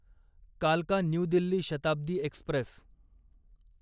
कालका new Delhi Shatabdi Express